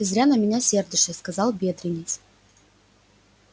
ты зря на меня сердишься сказал бедренец